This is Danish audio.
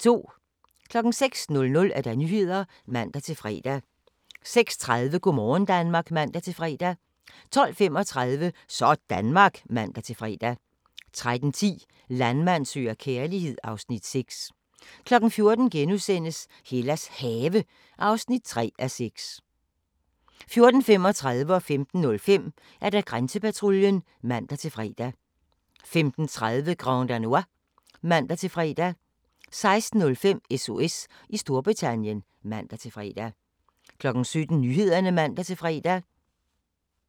06:00: Nyhederne (man-fre) 06:30: Go' morgen Danmark (man-fre) 12:35: Sådanmark (man-fre) 13:10: Landmand søger kærlighed (Afs. 6) 14:00: Hellas Have (3:6)* 14:35: Grænsepatruljen (man-fre) 15:05: Grænsepatruljen (man-fre) 15:30: Grand Danois (man-fre) 16:05: SOS i Storbritannien (man-fre) 17:00: Nyhederne (man-fre)